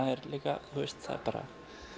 er líka bara